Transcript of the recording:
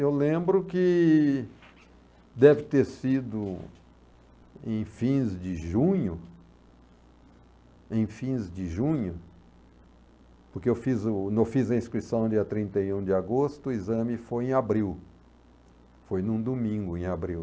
Eu lembro que deve ter sido em fins de junho, em fins de junho, porque eu fiz o eu fiz a inscrição no dia trinta e um de agosto, o exame foi em abril, foi num domingo em abril.